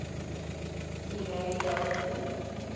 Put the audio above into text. he married dorothy